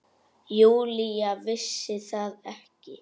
Júlía vissi það ekki.